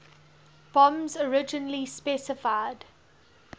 bombs originally specified